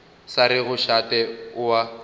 sa rego šate o a